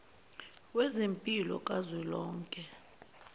wezempilo ka zwelonke